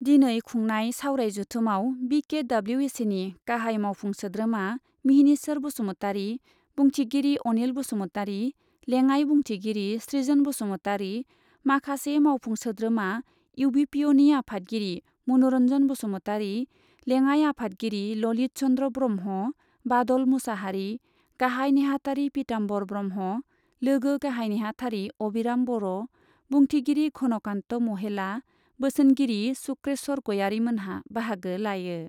दिनै खुंनाय सावराय जथुमाव बि के डब्लिउ ए सिनि गाहाइ मावफुं सोद्रोमा मिहिनीश्वर बसुमतारि, बुंथिगिरि अनिल बसुमतारि, लेङाइ बुंथिगिरि सृजोन बसुमतारि, माखासे मावफुं सोद्रोमा इउ बि पि अनि आफादगिरि मनुरन्जन बसुमतारि, लेङाइ आफादगिरि ललित चन्द्र ब्रह्म, बादल मुसाहारि, गाहाइ नेहाथारि पिताम्बर ब्रह्म, लोगो गाहाइ नेहाथारि अबिराम बर', बुंथिगिरि घनकान्त महेला, बोसोनगिरि शुक्रेश्वर गयारीमोनहा बाहागो लायो।